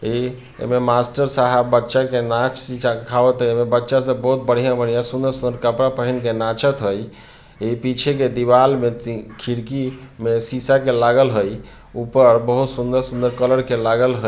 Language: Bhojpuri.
ए एमें मास्टर साहब बच्चा के नाच सि-सखावत है एमें बच्चा सब बोहोत बढ़ियां-बढ़ियां सुन्दर-सुन्दर कपड़ा पहिन के नाचत है ए पीछे की दीवाल में ति खिड़की में शीशा के लागल है ऊपर बोहोत सुन्दर-सुन्दर कलर के लागल ह --